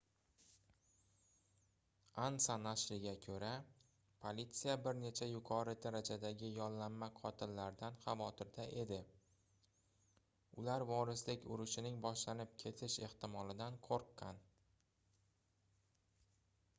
ansa nashriga koʻra politsiya bir nechta yuqori darajadagi yollanma qotillardan xavotirda edi ular vorislik urushining boshlanib ketish ehtimolidan qoʻrqqan